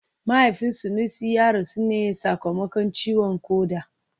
Mahaifin Sanusi ya rasu ne sakamakon ciwon koda